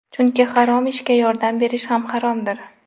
Chunki harom ishga yordam berish ham haromdir.